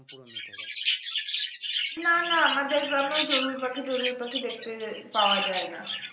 নানা আমাদের গ্রামেও চড়ুই পাখি টোরুই পাখি দেখতে পাওয়া যায় না